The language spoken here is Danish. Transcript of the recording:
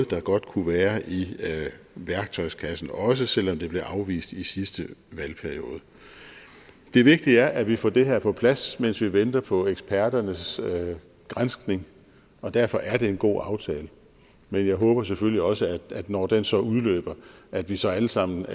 der godt kunne være i værktøjskassen også selv om det blev afvist i sidste valgperiode det vigtige er at vi får det her på plads mens vi venter på eksperternes granskning og derfor er det en god aftale men jeg håber selvfølgelig også at når den så udløber at vi så alle sammen